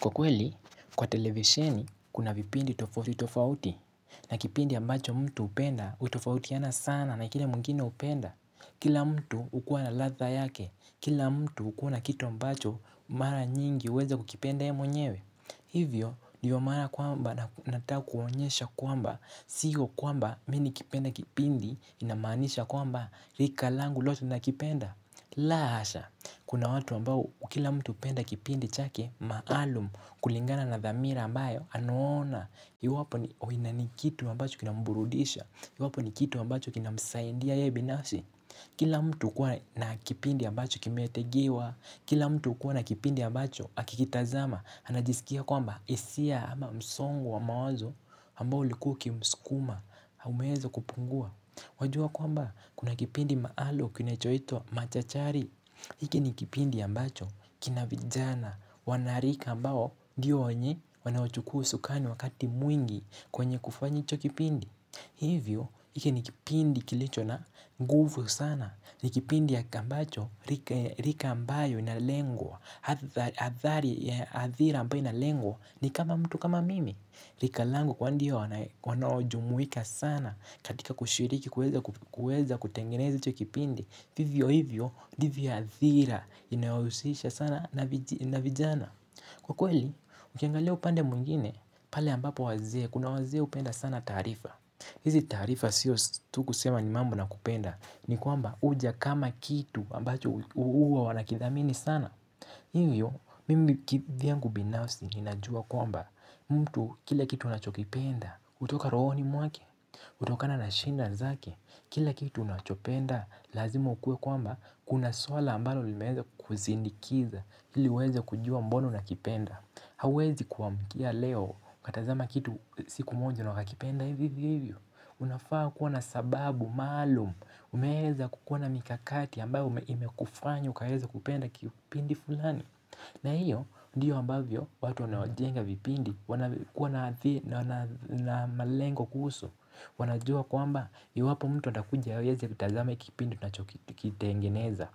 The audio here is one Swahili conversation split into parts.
Kwa kweli, kwa televesheni kuna vipindi tofauti tofauti na kipindi ambacho mtu hupenda hutofautiana sana na kile mwngine hupenda. Kila mtu hukua na ladha yake, kila mtu hukua na kitu ambacho mara nyingi huweza kukipenda yeye mwenyewe. Hivyo ndiyo maana kwamba nataka kuwaonyesha kwamba siyo kwamba mimi nikipenda kipindi inamaanisha kwamba rika langu lote linakipenda. La hasha, kuna watu ambao kila mtu hupenda kipindi chake maalum kulingana na dhamira ambayo anaona. Iwapo ni kitu ambacho kinamburudisha, iwapo ni kitu ambacho kinamsaidia yeye binafsi. Kila mtu hukuwa na kipindi ambacho kimetegewa, kila mtu hukuwa na kipindi ambacho akikitazama anajisikia kwamba hisia ama msongo wa mawazo ambao ulikuwa ukimsukuma umeweza kupungua Wajua kwamba kuna kipindi maalum kinachoitwa Machachari. Hiki ni kipindi ambacho kina vijana, wanarika ambao ndiyo wenye wanaochukua usukani wakati mwingi kwenye kufanya hicho kipindi. Hivyo, hiki ni kipindi kilicho na nguvu sana. Ni kipindi ambacho rika ambayo inalengwa, athari, athira ambayo inalengwa ni kama mtu kama mimi. Rika langu kwani ndiyo wanaojumuika sana katika kushiriki kuweza kutengeneza hicho kipindi. Vivyo hivyo ndivyo athira inayohusisha sana na na vijana. Kwa kweli, ukiangalio upande mwingine pale ambapo wazee, kuna wazee hupenda sana taarifa. Hizi taarifa sio tu kusema nivmambo na kupenda, ni kwamba huja kama kitu ambacho huwa wanakithamini sana. Hivyo, mimi kivyangu binafsi ninajua kwamba mtu kile kitu anachokipenda hutoka rohoni mwake, hutokana na shida zake, kila kitu unachopenda lazima ukue kwamba kuna swala ambalo limeeza kukusindikiza ili uweze kujua mbona unakipenda. Hauwezi kuamkia leo ukatazama kitu siku moja na ukakipenda hivyo hivyo. Unafaa kuwa na sababu maalum umeweza kukuwa na mikakati ambayo imekufanya ukaweza kupenda kipindi fulani. Na hiyo ndiyo ambavyo watu wanaojenga vipindi wanavyo kuwa na malengo kuhusu wanajua kwamba iwapo mtu atakuja hawezi atazame kipindi tunachokitengeneza,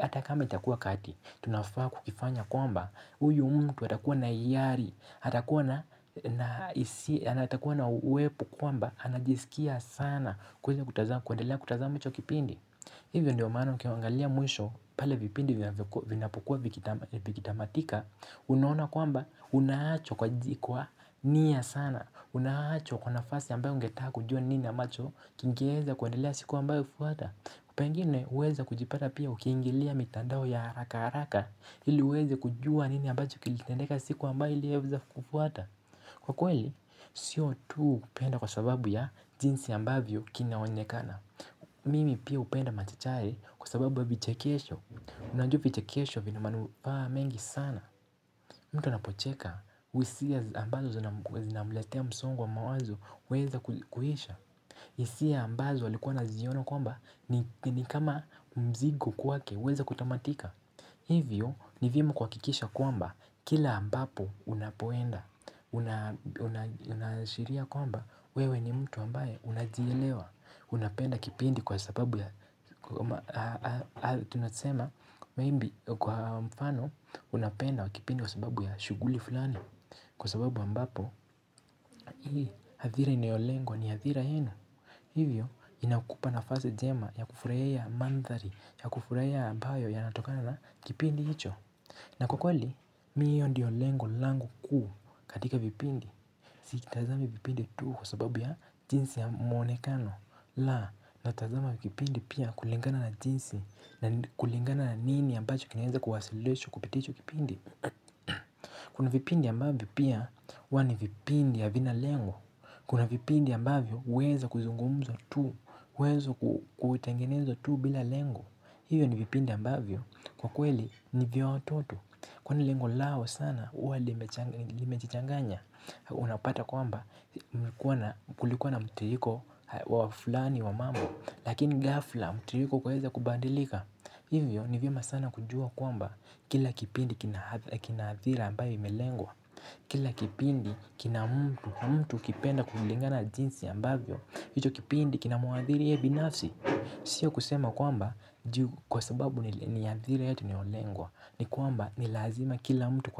hata kama itakuwa kati, tunafaa kukifanya kwamba huyu mtu atakuwa na hiari, atakuwa na hisia na atakuwa na uwepo kwamba anajisikia sana kuweza kutazama, kuendelea kutazama hicho kipindi. Hivyo ndio maana ukiangalia mwisho pale vipindi vinapokuwa vikitamatika, unaona kwamba unaachwa kwa jikwaa nia sana. Unaachwa kwa nafasi ambayo ungetaka kujua nini ambacho kingeeza kuendelea siku ambayo hufuata. Pengine huweza kujipata pia ukiingilia mitandao ya haraka haraka Ili uweze kujua nini ambacho kilitendeka siku ambayo iliweza kufuata. Kwa kweli, sio tu upenda kwa sababu ya jinsi ambavyo kinaonekana. Mimi pia hupenda machachari kwa sababu ya vichekesho. Unajua vichekesho vina manufaa mengi sana mtu anapocheka, hisia ambazo zinamletea msongo wa mawazo huweza kuisha. Hisia ambazo alikuwa anaziona kwamba ni kama mzigo kwake huweza kutamatika. Hivyo ni vyema kuhakikisha kwamba kila ambapo unapoenda, unaashiria kwamba wewe ni mtu ambaye unajielewa. Unapenda kipindi kwa sababu ya kwa mfano, unapenda kipindi kwa sababu ya shughuli fulani. Kwa sababu ambapo hivyo hivyo inakupa nafasi jema ya kufuraya mandhari ya kufuraya ambayo ya natokana na kipindi hicho na kukweli, mi hiyo ndiyo lengu langu kuu katika vipindi Sikitazama vipindi tu kwa sababu ya jinsi ya mwonekano la, natazama vipindi pia kulingana na jinsi na kulingana na nini ambacho kinezakuhasilecho kupiticho kipindi Kuna vipindi ambavyo pia wani vipindi ya vina lengu Kuna vipindi ambavyo uweza kuzungumza tu uweza kutengenezo tu bila lengo Hivyo ni vipindi ambavyo kwa kweli ni vya watoto Kwa ni lengo lao sana uwa limejichanganya Unapata kwamba kulikuwa na mtiriko wa fulani wa mambo Lakini ghafla mtiriko kuweza kubandilika Hivyo nivyema sana kujua kwamba kila kipindi kinaathira ambavyo imelengwa Kila kipindi kinamtu kipenda kuflingana jinsi ambavyo hicho kipindi kinamuathiri ye binasi Sio kusema kwamba kwa sababu ni adhira yetu tu anaolengwa ni kwamba ni lazima kila mtu kwa.